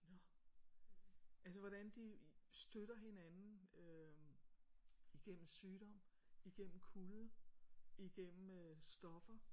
Nå altså hvordan de støtter hinanden øh igennem sygdom igennem kulde igennem øh stoffer